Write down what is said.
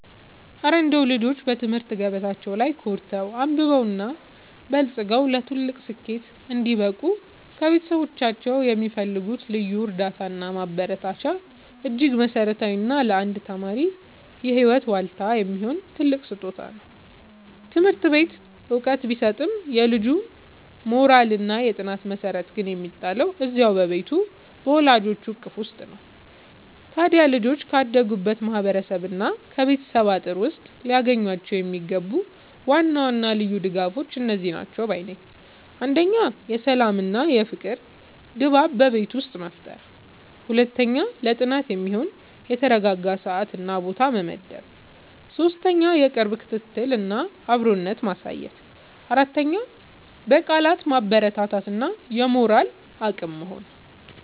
እረ እንደው ልጆች በትምህርት ገበታቸው ላይ ኮርተው፣ አብበውና በልጽገው ለትልቅ ስኬት እንዲበቁ ከቤተሰቦቻቸው የሚፈልጉት ልዩ እርዳታና ማበረታቻማ እጅግ መሠረታዊና ለአንድ ተማሪ የህይወት ዋልታ የሚሆን ትልቅ ስጦታ ነው! ትምህርት ቤት ዕውቀት ቢሰጥም፣ የልጁ የሞራልና የጥናት መሠረት ግን የሚጣለው እዚያው በቤቱ በወላጆቹ እቅፍ ውስጥ ነው። ታዲያ ልጆች ካደጉበት ማህበረሰብና ከቤተሰብ አጥር ውስጥ ሊያገኟቸው የሚገቡ ዋና ዋና ልዩ ድጋፎች እነዚህ ናቸው ባይ ነኝ፦ 1. የሰላምና የፍቅር ድባብ በቤት ውስጥ መፍጠር 2. ለጥናት የሚሆን የተረጋጋ ሰዓትና ቦታ መመደብ 3. የቅርብ ክትትልና አብሮነት ማሳየት 4. በቃላት ማበረታታት እና የሞራል አቅም መሆን